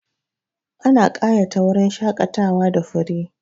Ana ƙayata wurin shaƙatawa da fure.